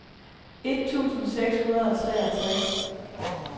et tusind seks hundrede og treogtres